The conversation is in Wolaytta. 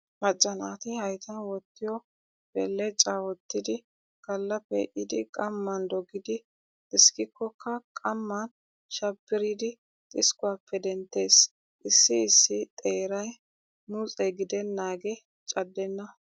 Macca naati hayttan wottiyoo belecaa wottidi galla pee"idi qamman dogidi xiskkikkokka qamman shabbiridi xiskkuwaappe denttees. Issi issi xeeray muxxe gidennaagee caddenna.